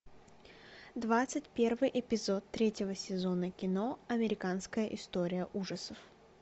двадцать первый эпизод третьего сезона кино американская история ужасов